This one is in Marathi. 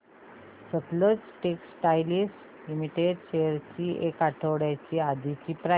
सतलज टेक्सटाइल्स लिमिटेड शेअर्स ची एक आठवड्या आधीची प्राइस